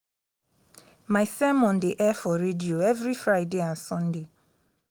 my sermon dey air for radio every friday and sunday